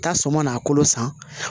Taa sɔm na kolo san